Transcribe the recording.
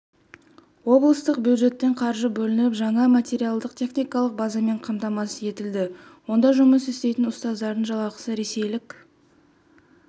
облыстық бюджеттен қаржы бөлініп жаңа материалдық-техникалық базамен қамтамасыз етілді онда жұмыс істейтін ұстаздардың жалақысы ресейлік